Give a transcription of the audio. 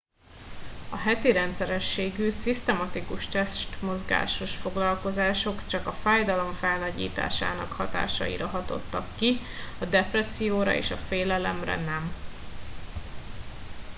a heti rendszerességű szisztematikus testmozgásos foglalkozások csak a fájdalom felnagyításának hatásaira hatottak ki a depresszióra és a félelemre nem